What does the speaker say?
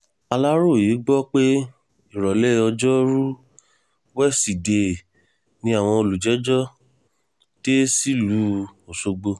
aláròye gbọ́ pé ìrọ̀lẹ́ ọjọ́rùú wísidee ni àwọn olùjẹ́jọ́ dé sílùú ọ̀ṣọ́gbó